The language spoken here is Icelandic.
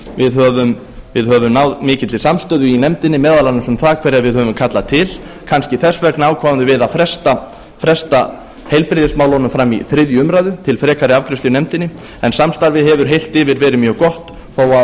við höfum náð mikilli samstöðu í nefndinni meðal annars um það hverja við höfum kallað til kannski þess vegna ákváðum við að fresta heilbrigðismálunum fram í þriðju umræðu til frekari afgreiðslu í nefndinni en samstarfið hefur heilt yfir verið mjög gott þó að